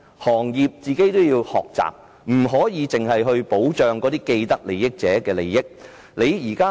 行業本身也要學習，不可只顧保障既得利益者的利益。